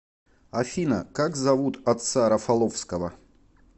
афина как зовут отца рафаловского